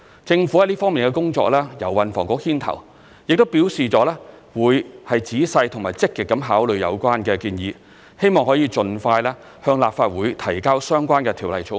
政府在這方面的工作由運輸及房屋局牽頭，亦表示會仔細及積極地考慮有關建議，希望可以盡快向立法會提交相關的條例草案。